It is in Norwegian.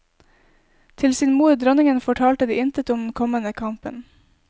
Til sin mor dronningen fortalte de intet om den kommende kampen.